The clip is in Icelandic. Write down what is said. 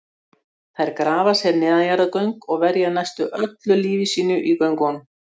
Þær grafa sér neðanjarðargöng og verja næstum öllu lífi sínu í göngunum.